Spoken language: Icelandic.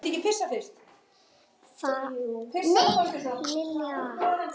Vaknaðu Pétur.